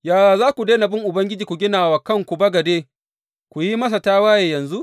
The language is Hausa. Yaya za ku daina bin Ubangiji ku gina wa kanku bagade, ku yi masa tawaye yanzu?